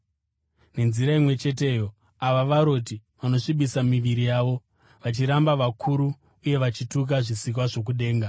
Nenzira imwe cheteyo, ava varoti vanosvibisa miviri yavo, vachiramba vakuru uye vachituka zvisikwa zvokudenga.